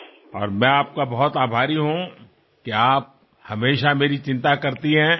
અને હું આપનો બહુ આભારી છું કે આપ હંમેશાં મારી ચિંતા કરો છો